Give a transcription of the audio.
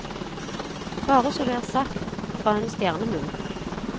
Bare så det er sagt, fra en stjernemunn.